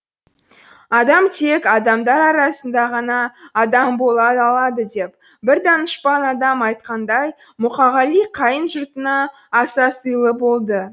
адам тек адамдар арасында ғана адам бола алады деп бір данышпан адам айтқандай мұқағали қайын жұртына аса сыйлы болды